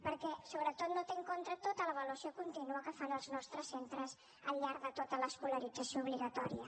perquè sobretot no té en compte tota l’avaluació contínua que fan els nostres centres al llarg de tota l’escolarització obligatòria